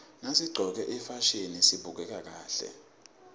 nasiqcoke ifasihni sibukeka kahle